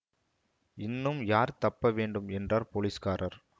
இன்னும் யார் தப்ப வேண்டும் என்றார் போலீஸ்காரர்